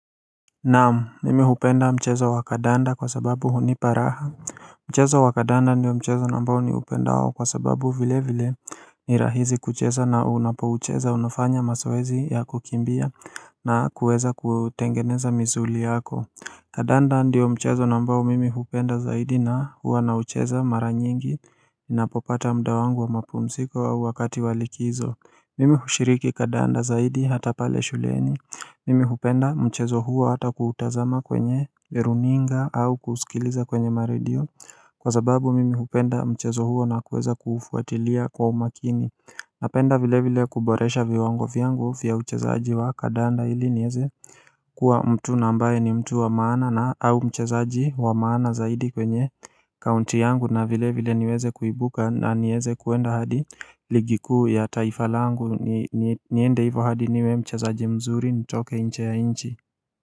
Naam mimi hupenda mchezo wa kadanda kwa sababu hunipa raha Mchezo wa kadanda ndio mchezo nambao niupendao kwa sababu vile vile ni rahizi kucheza na unapo ucheza unafanya maswezi ya kukimbia na kuweza kuotengeneza mizuli yako kadanda ndio mchezo nambao mimi hupenda zaidi na huwa na ucheza mara nyingi napopata mda wangu wa mapumsiko au wakati wa likizo Mimi hushiriki kadanda zaidi hata pale shuleni Mimi hupenda mchezo huo hata kuutazama kwenye runinga au kusikiliza kwenye maredio Kwa zababu mimi hupenda mchezo huo na kuweza kufuatilia kwa umakini Napenda vile vile kuboresha viwango vyangu fia uchezaji wa kadanda ili nieze Kua mtu na ambaye ni mtu wa maana na au mchezaaji wa maana zaidi kwenye kaunti yangu na vile vile niweze kuibuka na nieze kuenda hadi ligi kuu ya taifa langu niende hivo hadi niwe mchezaji mzuri nitoke nche ya nchi.